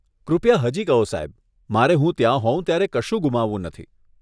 કૃપયા હજી કહો સાહેબ, મારે હું ત્યાં હોઉં ત્યારે કશું ગુમાવવું નથી.